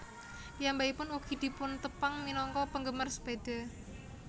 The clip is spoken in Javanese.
Piyambakipun ugi dipuntepang minangka penggemar sepeda